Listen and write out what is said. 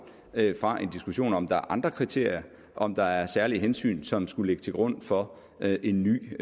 fra en diskussion om om der er andre kriterier og om der er særlige hensyn som skulle ligge til grund for en ny